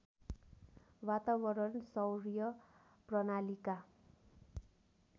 वातावरण सौर्य प्रणालीका